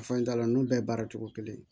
Fan da nun bɛɛ baara cogo kelen